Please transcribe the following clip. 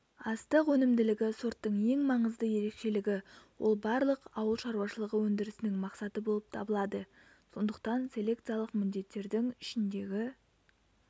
астық өнімділігі сорттың ең маңызды ерекшелігі ол барлық ауылшаруашылығы өндірісінің мақсаты болып табылады сондықтан селекциялық міндеттердің ішіндегі